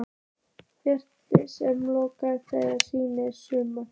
Ferli sem ég lokaði þegar síðasta sumar?